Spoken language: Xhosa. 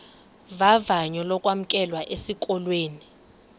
vavanyo lokwamkelwa esikolweni